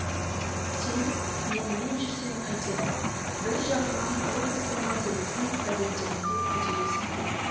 сен менімен бірге жүрсең қайтеді бір жағынан облыстың мәселесін газеттеріңде көтересің деді